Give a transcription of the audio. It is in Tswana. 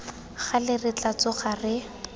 gale re tla tsoga re